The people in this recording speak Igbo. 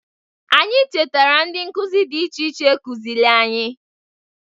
Anyi chetara ndị nkụzị dị iche iche kụzịlị anyị.